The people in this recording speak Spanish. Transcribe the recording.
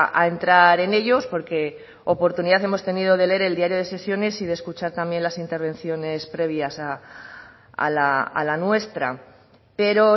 a entrar en ellos porque oportunidad hemos tenido de leer el diario de sesiones y de escuchar también las intervenciones previas a la nuestra pero